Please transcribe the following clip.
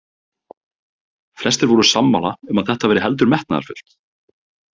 Flestir voru sammála um að þetta væri heldur metnaðarfullt.